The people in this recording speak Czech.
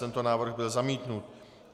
Tento návrh byl zamítnut.